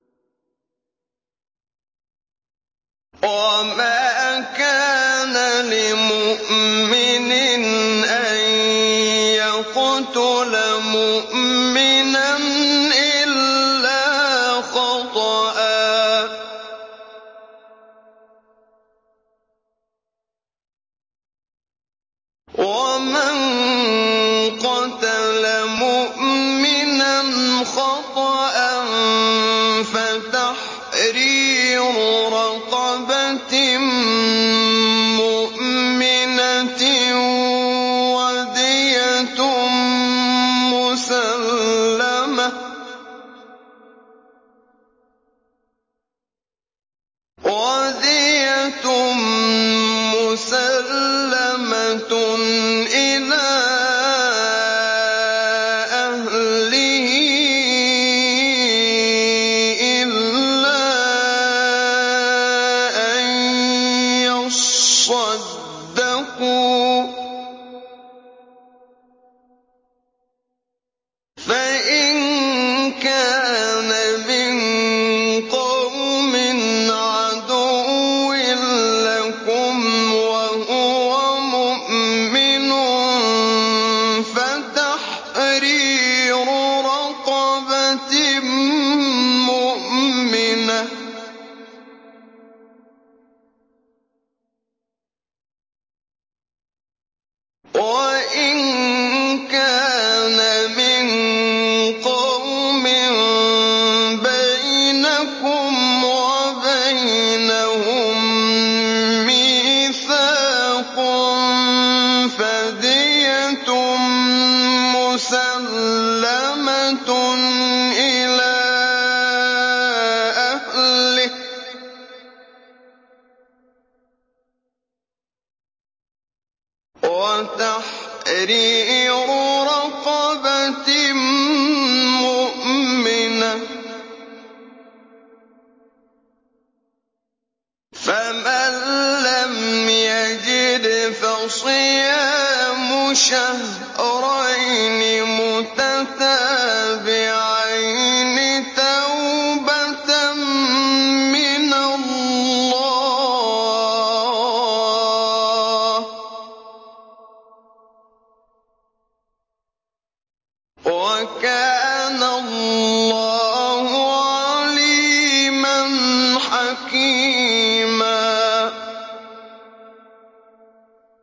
وَمَا كَانَ لِمُؤْمِنٍ أَن يَقْتُلَ مُؤْمِنًا إِلَّا خَطَأً ۚ وَمَن قَتَلَ مُؤْمِنًا خَطَأً فَتَحْرِيرُ رَقَبَةٍ مُّؤْمِنَةٍ وَدِيَةٌ مُّسَلَّمَةٌ إِلَىٰ أَهْلِهِ إِلَّا أَن يَصَّدَّقُوا ۚ فَإِن كَانَ مِن قَوْمٍ عَدُوٍّ لَّكُمْ وَهُوَ مُؤْمِنٌ فَتَحْرِيرُ رَقَبَةٍ مُّؤْمِنَةٍ ۖ وَإِن كَانَ مِن قَوْمٍ بَيْنَكُمْ وَبَيْنَهُم مِّيثَاقٌ فَدِيَةٌ مُّسَلَّمَةٌ إِلَىٰ أَهْلِهِ وَتَحْرِيرُ رَقَبَةٍ مُّؤْمِنَةٍ ۖ فَمَن لَّمْ يَجِدْ فَصِيَامُ شَهْرَيْنِ مُتَتَابِعَيْنِ تَوْبَةً مِّنَ اللَّهِ ۗ وَكَانَ اللَّهُ عَلِيمًا حَكِيمًا